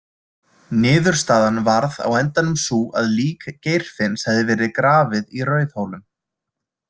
Niðurstaðan varð á endanum sú að lík Geirfinns hefði verið grafið í Rauðhólum.